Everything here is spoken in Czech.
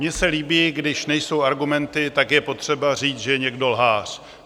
Mně se líbí, když nejsou argumenty, tak je potřeba říct, že je někdo lhář.